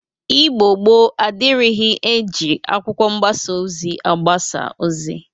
Igbo gboo adịrighi e ji akwụkwọ mgbasa ozi agbasa ozi